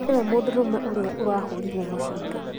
nĩ we mũndũrũme ũrĩa arahũrirwo mũcinga